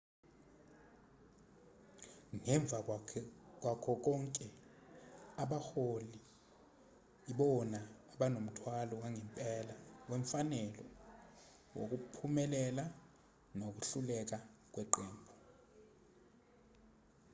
ngemva kwakho konke abaholi ibona abonomthwalo wangempela wemfanelo wokuphumelela nokuhluleka kweqembu